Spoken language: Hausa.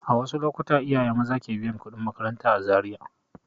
A wasu lokuta iyaye maza ke biyan kuɗin makaranta a Zariya.